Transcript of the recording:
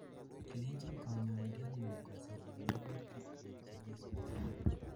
ilenjin kanyoindet ngung kosirun magutikyik chekisubi